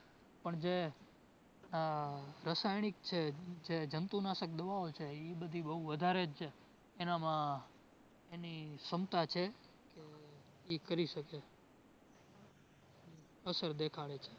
પણ જે ઉહ રસાયણિક છે, જે જંતુનાશક દવાઓ છે ઇ બધી બોવ વધારે જ એનામાં એની ક્ષમતા છે તો ઇ કરી શકે. અસર દેખાડે છે